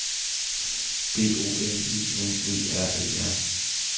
D O M I N E R E R